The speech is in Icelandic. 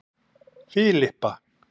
Filippa